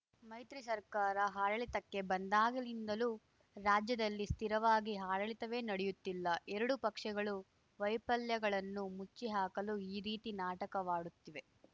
ಮೈತ್ರಿ ಸರ್ಕಾರ ಆಡಳಿತಕ್ಕೆ ಬಂದಾಗಲಿಂದಲೂ ರಾಜ್ಯದಲ್ಲಿ ಸ್ಥಿರವಾಗಿ ಆಡಳಿತವೇ ನಡೆಯುತ್ತಿಲ್ಲ ಎರಡೂ ಪಕ್ಷಗಳು ವೈಫಲ್ಯಗಳನ್ನು ಮುಚ್ಚಿಹಾಕಲು ಈ ರೀತಿ ನಾಟಕವಾಡುತ್ತಿವೆ